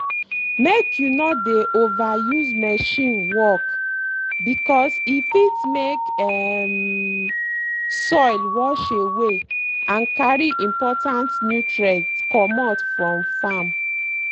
make you no dey over use machine work because e fit make um soil wash away and carry important nutrients comot from farm.